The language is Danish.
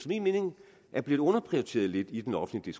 min mening er blevet underprioriteret lidt i den offentlige